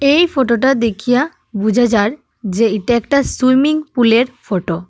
এই ফটো -টা দেখিয়া বোঝা যার যে এটা একটা সুইমিং পুল -এর ফটো ।